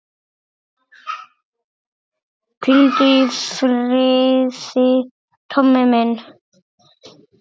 Hvíldu í friði, Tommi minn.